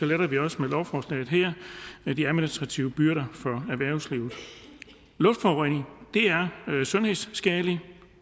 letter vi også med lovforslaget her her de administrative byrder for erhvervslivet luftforurening er sundhedsskadeligt